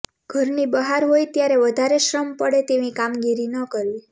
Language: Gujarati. ઘરની બહાર હોય ત્યારે વધારે શ્રમ પડે તેવી કામગીરી ન કરવી